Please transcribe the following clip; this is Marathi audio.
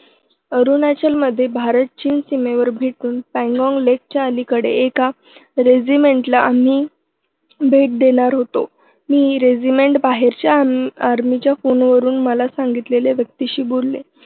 अरुणाचलमध्ये भारत-चीन सीमेवर भेटून पँगाँग लेकच्या अलीकडे एका regiment ला आम्ही भेट देणार होतो. मी regiment बाहेरच्या army च्या फोनवरून मला सांगितलेल्या व्यक्तीशी बोलले